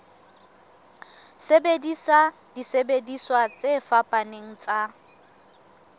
sebedisa disebediswa tse fapaneng tsa